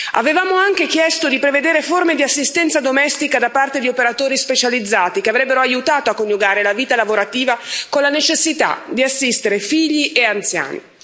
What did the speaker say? Avevamo anche chiesto di prevedere forme di assistenza domestica da parte di operatori specializzati, che avrebbero aiutato a coniugare la vita lavorativa con la necessità di assistere figli e anziani.